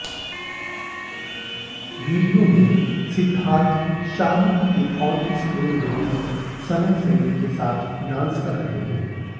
video में सिद्धार्थ शाहरुख की onscreen बेटी सना सईद के साथ डांस कर रहे हैं